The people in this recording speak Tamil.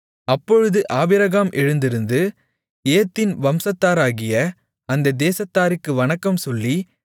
அப்பொழுது ஆபிரகாம் எழுந்திருந்து ஏத்தின் வம்சத்தாராகிய அந்தத் தேசத்தாருக்கு வணக்கம் சொல்லி